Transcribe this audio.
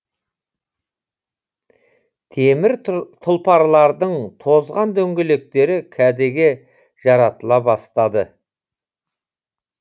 темір тұлпарлардың тозған дөңгелектері кәдеге жаратыла бастады